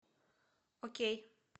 окей